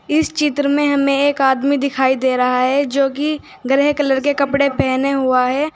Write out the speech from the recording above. इस चित्र में हमें एक आदमी दिखाई दे रहा है जो कि ग्रे कलर के कपड़े पहना हुआ है।